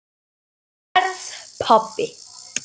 Verð pabbi.